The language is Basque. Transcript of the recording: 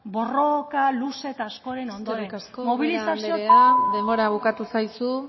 borroka luze eta askoren ondoren mobilizazioak eskerrik asko ubera andrea denbora bukatu zaizu